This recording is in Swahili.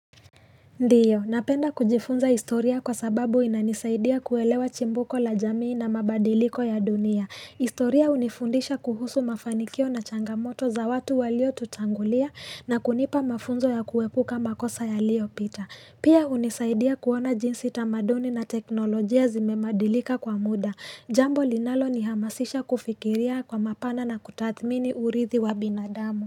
Ndio napenda kujifunza historia kwa sababu inanisaidia kuelewa chimbuko la jamii na mabadiliko ya dunia historia hunifundisha kuhusu mafanikio na changamoto za watu walio tutangulia na kunipa mafunzo ya kuepuka makosa yaliopita Pia hunisaidia kuona jinsi tamaduni na teknolojia zimemadilika kwa muda Jambo linalo ni hamasisha kufikiria kwa mapana na kutathmini urithi wa binadamu.